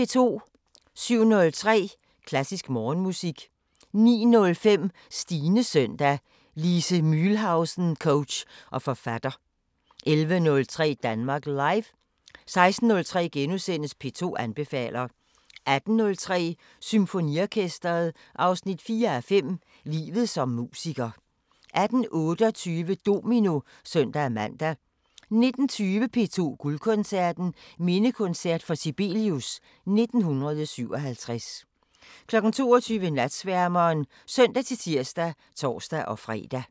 07:03: Klassisk Morgenmusik 09:05: Stines søndag: Lise Mühlhausen coach og forfatter 11:03: Danmark Live 16:03: P2 anbefaler * 18:03: Symfoniorkesteret 4:5 – Livet som musiker 18:28: Domino (søn-man) 19:20: P2 Guldkoncerten: Mindekoncert for Sibelius 1957 22:00: Natsværmeren (søn-tir og tor-fre)